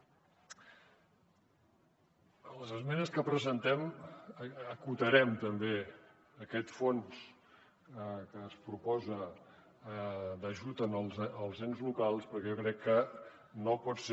a les esmenes que presentem acotarem també aquest fons que es proposa d’ajut als ens locals perquè jo crec que no pot ser